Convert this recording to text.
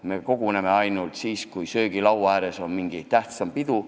Meie koguneme ainult siis, kui söögilaua ääres on mingi tähtsam pidu.